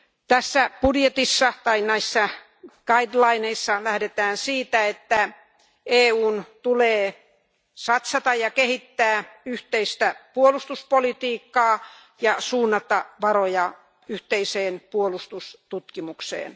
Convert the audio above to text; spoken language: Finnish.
Tässä budjetissa tai näissä suuntaviivoissa lähdetään siitä, että EUn tulee satsata ja kehittää yhteistä puolustuspolitiikkaa ja suunnata varoja yhteiseen puolustustutkimukseen.